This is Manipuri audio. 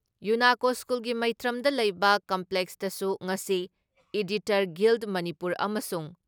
ꯌꯨꯨꯅꯥꯀꯣ ꯁ꯭ꯀꯨꯜꯒꯤ ꯃꯩꯇ꯭ꯔꯝꯗ ꯂꯩꯕ ꯀꯦꯝꯄꯁꯇꯁꯨ ꯉꯁꯤ ꯏꯗꯤꯇꯔ ꯒꯤꯜ ꯃꯅꯤꯄꯨꯔ ꯑꯃꯁꯨꯡ